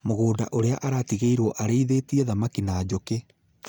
Mũgũnda ũrĩa aratigĩirwo arĩithĩtie thamaki na njũkĩ